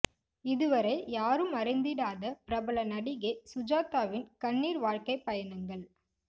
இதுவரை யாரும் அறிந்திடாத பிரபல நடிகை சுஜாத்தாவின் கண்ணீர் வாழ்க்கை பயணங்கள்